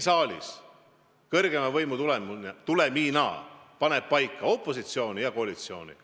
Aga poliitilise konkurentsi tulemina on siin saalis kõrgeima võimu tahte kohaselt paika pandud opositsioon ja koalitsioon.